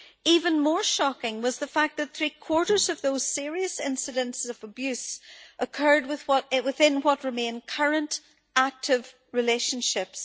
Even more shocking was the fact that three quarters of those serious incidents of abuse occurred within what remained current, active relationships.